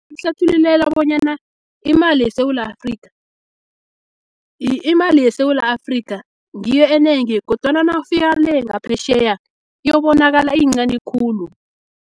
Mhlathululela bonyana imali yeSewula Afrika, ngiyo enengi, kodwana nawufika le, ngaphetjheya, iyobonakala iyincani khulu.